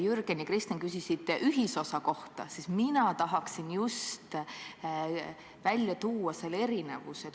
Jürgen ja Kristen küsisid ühisosa kohta, mina aga tahan just välja tuua erinevuse.